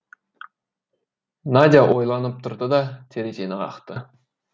надя ойланып тұрды да терезені қақты